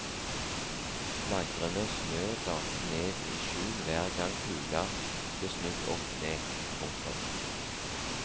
Flagrende snø dalte ned i skjul hver gang kula ble snudd opp ned. punktum